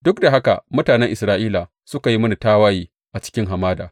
Duk da haka mutanen Isra’ila suka yi mini tawaye a cikin hamada.